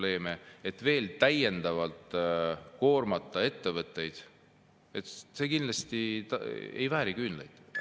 Ettevõtteid veel täiendavalt koormata – see kindlasti ei vääri küünlaid.